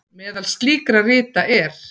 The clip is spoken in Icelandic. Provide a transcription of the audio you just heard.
Meðal slíkra rita er